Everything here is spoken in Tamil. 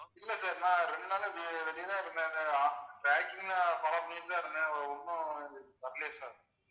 இல்ல sir நான் ரெண்டு நாளா நான் வெளியில இருந்தேன் sir tracking ல follow பண்ணிட்டு தான் இருந்தேன் ஒண்ணும் வரலையே sir